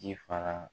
Ji faga